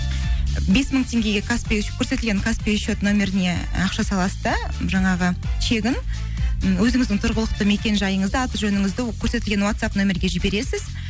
бес мың теңгеге көрсетілген каспий шот нөміріне і ақша саласыз да жаңағы чегін м өзіңіздің тұрғылықты мекен жайыңызды аты жөніңізді көрсетілген ватсап нөмірге жібересіз